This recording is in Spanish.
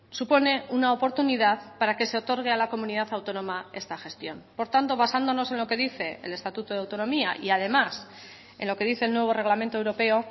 supone una oportunidad para que se otorgue a la comunidad autónoma esta gestión por tanto basándonos en lo que dice el estatuto de autonomía y además en lo que dice el nuevo reglamento europeo